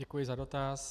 Děkuji za dotaz.